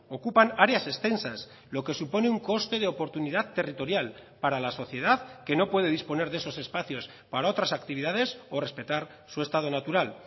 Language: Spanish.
ocupan áreas extensas lo que supone un coste de oportunidad territorial para la sociedad que no puede disponer de esos espacios para otras actividades o respetar su estado natural